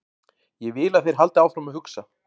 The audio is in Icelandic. Ég vil að þeir haldi áfram að hugsa.